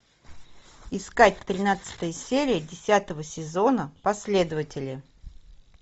искать тринадцатая серия десятого сезона последователи